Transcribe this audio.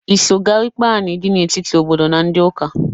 I so gaa ikpe anị dị n'etiti ndị obodo na ndị ụka?